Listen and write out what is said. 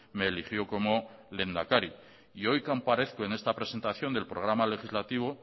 me eligió como lehendakari y hoy comparezco en esta presentación del programa legislativo